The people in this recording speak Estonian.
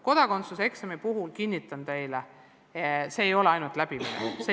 Kodakondsuseksami puhul, kinnitan teile, ei ole vajalik ainult selle läbimine.